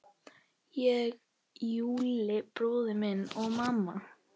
Ég, Júlli bróðir og mamma.